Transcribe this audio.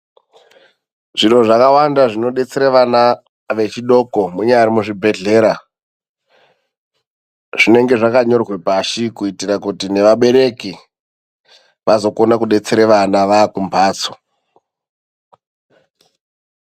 Zviro zvakawanda zvinodetsere vana vechidoko ,munyari muzvibhedhlera zvinenge zvakanyorwa pashi .Kuitira kuti nevabereki vazokona kudetsera vana vakumbatso.